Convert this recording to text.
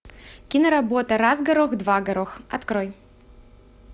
киноработа раз горох два горох открой